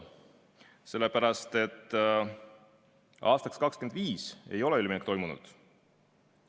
Sellepärast, et aastaks 2025 ei ole üleminekut toimunud.